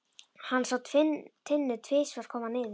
Hann sá Tinnu tvisvar koma niður.